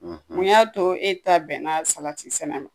Mun y'a to e ta bɛnna salatisɛnɛ ma